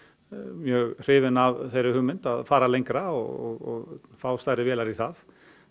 mjög hrifinn af þeirri hugmynd að fara lengra og fá stærri vélar í það